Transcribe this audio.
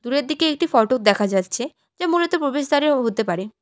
দূরের দিকে একটি ফটক দেখা যাচ্ছে যা মূলত প্রবেশদ্বারেও হতে পারে।